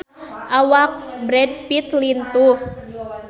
Awak Brad Pitt lintuh